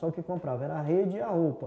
Só o que comprava era a rede e a roupa.